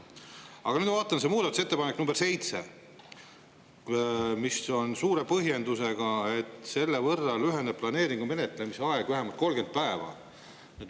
Aga nüüd ma vaatan seda muudatusettepanekut nr 7, mille suur põhjendus on, et selle kohaselt lüheneb planeeringu menetlemise aeg vähemalt 30 päeva.